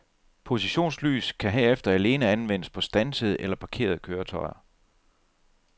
Positionslys kan herefter alene anvendes på standsede eller parkerede køretøjer.